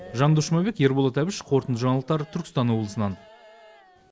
жандос жұмабек ерболат әбіш қорытынды жаңалықтар түркістан облысынан